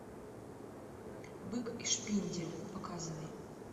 бык и шпиндель показывай